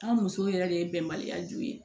An musow yɛrɛ de ye bɛnbaliya ju ye